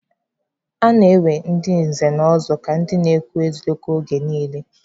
A na-ewe ndị nze na ọzọ ka ndị na-ekwu eziokwu oge niile